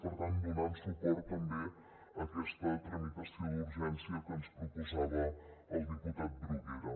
per tant donant suport també a aquesta tramitació d’urgència que ens proposava el diputat bruguera